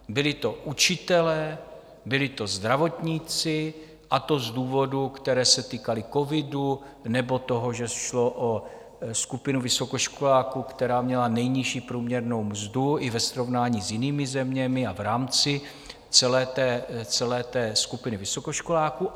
Byli to učitelé, byli to zdravotníci, a to z důvodů, které se týkaly covidu nebo toho, že šlo o skupinu vysokoškoláků, která měla nejnižší průměrnou mzdu i ve srovnání s jinými zeměmi a v rámci celé té skupiny vysokoškoláků.